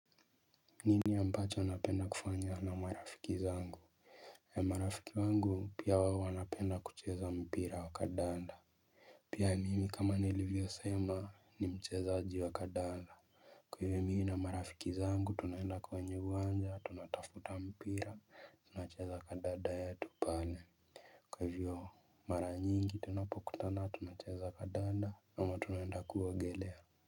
Nini ambacho napenda kufanya na marafiki zangu? Marafiki wangu pia wao wanapenda kucheza mpira wa kandanda. Pia mimi kama nilivyosema ni mchezaji wa kandanda. Mimi na marafiki zangu tunaenda kwenye uwanja. Tunatafuta mpira tunacheza kandanda yetu pale. Kwa hivyo, mara nyingi tunapokutana tunacheza kandanda ama tunaenda kuogelea.